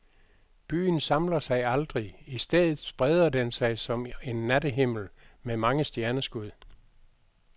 Byen samler sig aldrig, i stedet spreder den sig som en nattehimmel med mange stjerneskud.